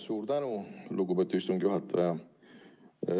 Suur tänu, lugupeetud istungi juhataja!